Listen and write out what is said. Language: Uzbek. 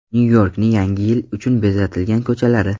Nyu-Yorkning Yangi yil uchun bezatilgan ko‘chalari.